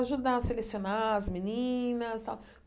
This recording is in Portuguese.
ajudar a selecionar as meninas tal.